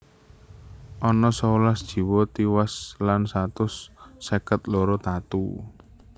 Ana sewelas jiwa tiwas lan satus seket loro tatu